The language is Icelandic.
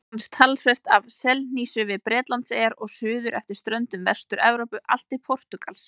Einnig finnst talsvert af selhnísu við Bretlandseyjar og suður eftir ströndum Vestur-Evrópu allt til Portúgals.